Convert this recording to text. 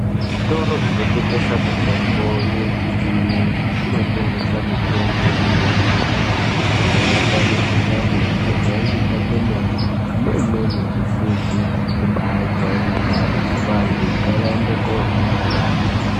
Zvitoro zvinotengesa mitombo yechiyungu kunotengeswa mitombo yakati kuti. Inorapa mukuhlani yakajairika kwemene neimweni isizi kubajairikapi, vantu ngavaende kotenga.